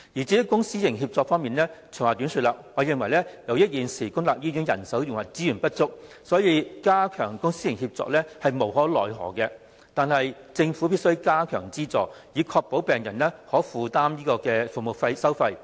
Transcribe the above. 至於公私營協作方面，長話短說，我認為由於現時公立醫院人手和資源不足，所以加強公私營協作亦無可厚非，但政府必須增加資助，以確保病人可負擔服務收費。